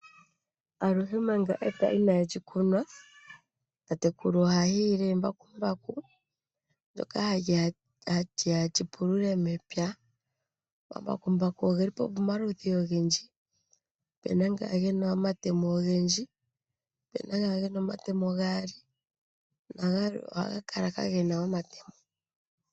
Aluhe manga epya inaa li kunwa, tatekulu oha hiile embakumbaku ndoka hali ya li pulule mepya. Omambakumbaku ogeli pamaludhi ogendji, opuna nga gena omatemo ogendji, opuna nga gena omatemo gaali nagamwe ohaga kala kaa gena omatemo.